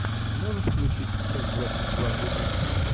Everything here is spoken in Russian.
можешь включить часть двадцать два гудини